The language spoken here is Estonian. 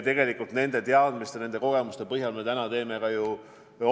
Tegelikult nende teadmiste ja kogemuste põhjal me teemegi otsuseid.